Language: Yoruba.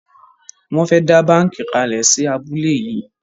Won fè dá bánkì kalè sí abúlé yí.